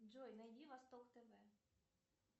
джой найди восток тв